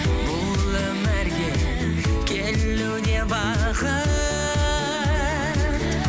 бұл өмірге келу де бақыт